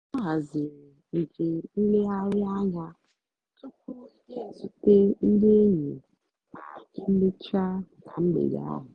ọ́ hazírí njém nlègharị́ ányá túpú yá ézúté ndí ényí má émécháá nà mgbedé áhụ̀.